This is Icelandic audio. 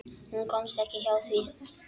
Hún komst ekki hjá því.